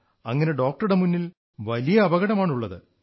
അങ്ങനെ ഡോക്ടറുടെ മുന്നിൽ വലിയ അപകടം ആണുള്ളത്